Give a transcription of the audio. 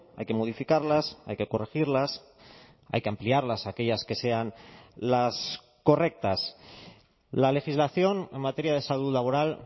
hay que modificarlas hay que corregirlas hay que ampliarlas aquellas que sean las correctas la legislación en materia de salud laboral